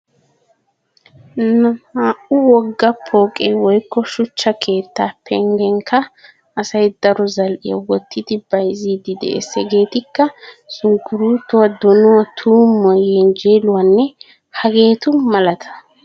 Naa"u wogga pooqe woykko shuchcha keettaa penggenikka asay daro zal"iya wottidi bayzziiddi de'ees. Hegeetikka:- sunkkuruutuwa, donuwa,, tuummuwa, yenjjeeluwanne hageetu malata.